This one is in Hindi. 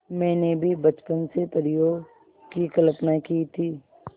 मैंने भी बचपन से परियों की कल्पना की थी